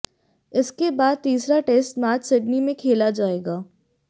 इसके बाद तीसरा टेस्ट मैच सिडनी में खेला जाएगा